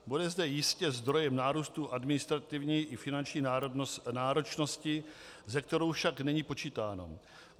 Bude zde jistě zdrojem nárůstu administrativní i finanční náročnosti, se kterou však není počítáno.